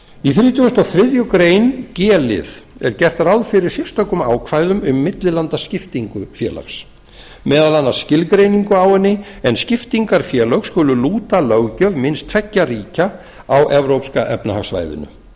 í hundrað þrítugasta og þriðju grein g lið er gert ráð fyrir sérstökum ákvæðum um millilandaskiptingu félags meðal annars skilgreiningu á henni en skiptingarfélög skulu lúta löggjöf minnst tveggja ríkja á evrópska efnahagssvæðinu